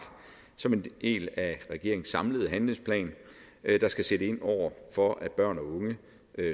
som en del af regeringens samlede handlingsplan der skal sætte ind over for at børn og unge